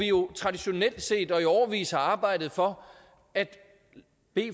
jo traditionelt set og i årevis arbejdet for at